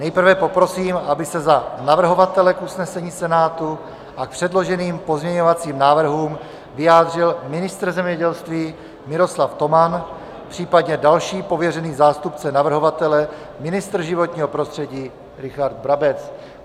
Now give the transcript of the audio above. Nejprve poprosím, aby se za navrhovatele k usnesení Senátu a k předloženým pozměňovacím návrhům vyjádřil ministr zemědělství Miroslav Toman, případně další pověřený zástupce navrhovatele, ministr životního prostředí Richard Brabec.